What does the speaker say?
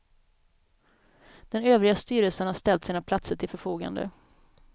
Den övriga styrelsen har ställt sina platser till förfogande.